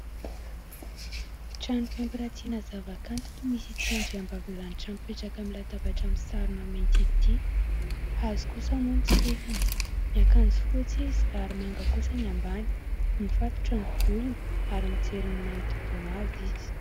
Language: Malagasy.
Trano fampirantiana zava-kanto ny misy ity andriambavilanitra, mipetraka amin'ny latabatra misarona mainty ity ,hazo kosa moa ny sezany miakanjo fotsy izy ary manga kosa ny ambany mifatotra ny volony ary mijery ny manodidina azy izy.